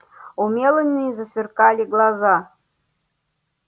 у мелани засверкали глаза